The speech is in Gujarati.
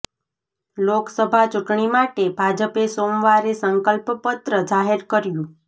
લોકસભા ચૂંટણી માટે ભાજપે સોમવારે સંકલ્પ પત્ર જાહેર કર્યું